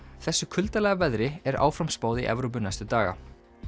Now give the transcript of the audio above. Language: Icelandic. þessu kuldalega veðri er áfram spáð í Evrópu næstu daga